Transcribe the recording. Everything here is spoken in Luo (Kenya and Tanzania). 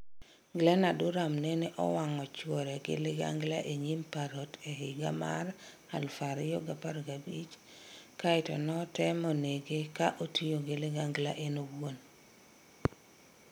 Glenna Duram nene owang' chuore gi ligangla e nyim parrot e higa mar 2015 kaeto notemo nege ka otiyo gi ligangla en owuon.